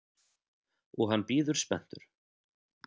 Og hann bíður spenntur.